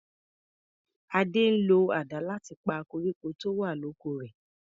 Ade ń lo àdá láti pa koríko tó wà l'oko rè.